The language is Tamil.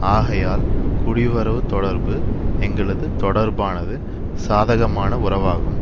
ஆகையால் குடிவரவு தொடர்பு எங்களது தொடர்பானது சாதகமான உறவாகும்